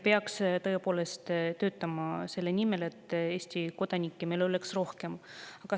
Peaks tõepoolest töötama selle nimel, et Eesti kodanikke oleks rohkem.